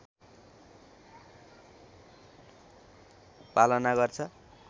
पालना गर्छ